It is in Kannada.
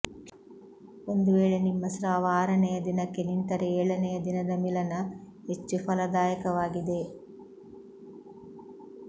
ಒಂದು ವೇಳೆ ನಿಮ್ಮ ಸ್ರಾವ ಆರನೆಯ ದಿನಕ್ಕೆ ನಿಂತರೆ ಏಳನೆಯ ದಿನದ ಮಿಲನ ಹೆಚ್ಚು ಫಲದಾಯಕವಾಗಿದೆ